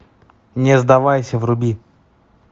не сдавайся вруби